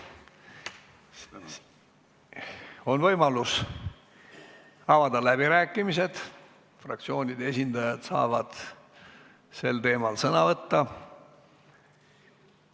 Siis on võimalus avada läbirääkimised, fraktsioonide esindajad saavad sel teemal sõna võtta.